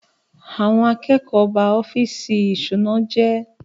Àwọn akẹ́kọ̀ọ́ ba ọ́fíìsì ìṣúná jẹ́.